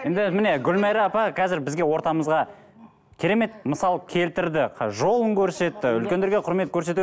енді міне гүлмайра апа қазір бізге ортамызға керемет мысал келтірді жолын көрсетті үлкендерге құрмет көрсету